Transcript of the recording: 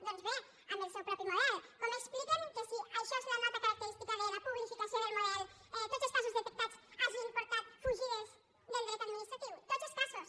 doncs bé amb el seu propi model com expliquen que si això és la nota característica de la publificació del model tots els casos detectats hagin portat fugides del dret administratiu tots els casos